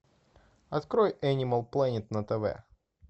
открой энимал плэнет на тв